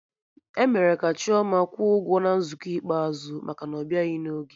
E mere ka Chioma kwụọ ụgwọ na nzukọ ikpeazụ maka na ọbịaghị n'oge